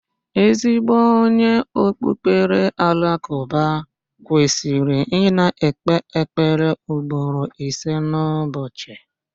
Ezigbo onye okpukpere Alakụba kwesịrị ị na-ekpe ekpere ugboro ise n'ụbọchị.